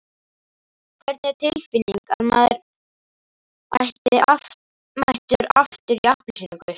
Hvernig er tilfinningin að vera mættur aftur í appelsínugult?